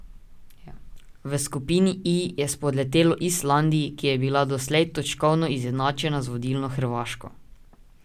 V skupini I je spodletelo Islandiji, ki je bila doslej točkovno izenačena z vodilno Hrvaško.